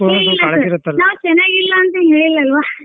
ನಾವ್ ಚನಾಗ್ ಇಲ್ಲ ಅಂತ ಹೇಳಿಲ್ಲ ಅಲ್ವಾ.